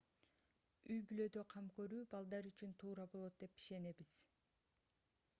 үй-бүлөдө кам көрүү балдар үчүн туура болот деп ишенебиз